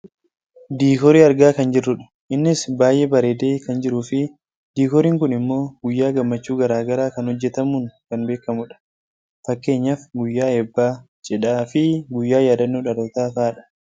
diikoorii argaa kan jirrudha . innis baayyee bareedee kan jiruufi diikooriin kun ammoo guyyaa gammachuu gara garaa kan hojjachatamuun kan beekkamudha. fakkeenyaaf guyyaa eebbaa , cidhaa fi guyyaa yaaddannoo dhalootaa fa'idha.